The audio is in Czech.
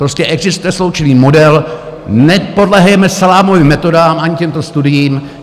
Prostě existuje sloučený model, nepodléhejme salámovým metodám ani těmto studiím.